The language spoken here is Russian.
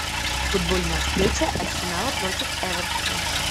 футбольная встреча арсенала против эвертона